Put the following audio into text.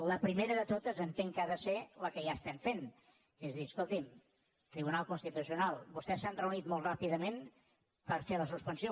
la primera de totes entenc que ha de ser la que ja estem fent que és dir escolti’m tribunal constitucional vostès s’han reunit molt ràpidament per fer la suspensió